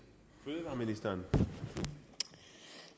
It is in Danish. vil